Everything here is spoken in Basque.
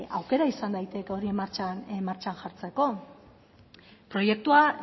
aukera izan daiteke hori martxan jartzeko